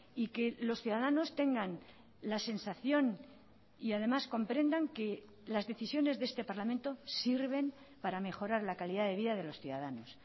y que los ciudadanos tengan la sensación y además comprendan que las decisiones de este parlamento sirven para mejorar la calidad de vida de los ciudadanos